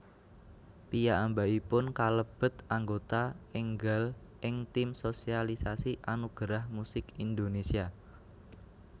Piyambakipun kalebet aggota énggal ing tim sosialisasi Anugerah Musik Indonesia